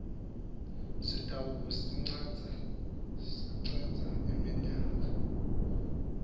sitawube sicedza iminyaka